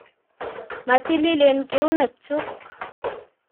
Matililen keunekchuk